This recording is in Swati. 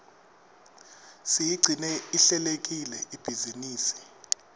siyigcine ihlelekile ibhizinisi